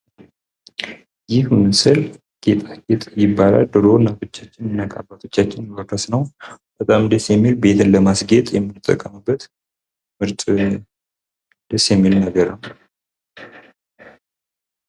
ይህ ምስል ጌጣጌጥ ይባላል። ድሮ አናት ፣ አባቶቻችን የሚጠቀሙበት፤ ቤትን ለማስጌጥ የምንጠቀምበት ምርጥ ደስ የሚል ነገር ነው።